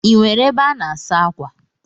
Ị nwere ebe a na-asa akwa?